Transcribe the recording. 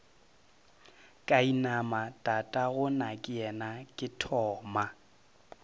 ka inama tatagonakeyena ke thoma